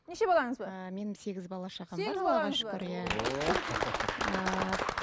неше балаңыз бар ыыы менің сегіз бала шағам